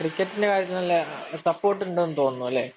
ക്രിക്കറ്റിന്‍റെ കാര്യത്തില്‍ നല്ല സപ്പോര്‍ട്ട് ഉണ്ടെന്നു തോന്നുന്നു.